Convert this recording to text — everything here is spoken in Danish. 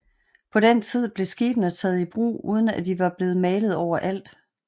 På den tid blev skibene taget i brug uden at de var blevet malet overalt